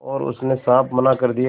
और उसने साफ मना कर दिया